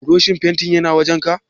Burushin fentin yana wajenka?